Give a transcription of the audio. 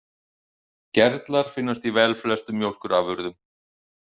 Gerlar finnast í velflestum mjólkurafurðum.